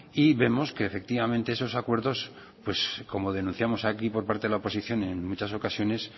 y vemos que efectivamente esos acuerdos como denunciamos aquí por parte de la oposición en muchas ocasiones